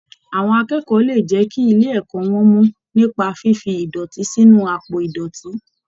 Àwọn akẹ́kọ̀ọ́ lè jẹ́ kí ilé ẹ̀kọ́ wọn mọ nípa fífi ìdọ̀tí sínu àpò ìdọ̀tí.